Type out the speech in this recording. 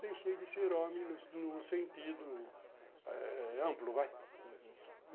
Deixei de ser homem no no sentido eh amplo, vai, uhum.